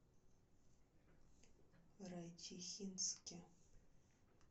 райчихинске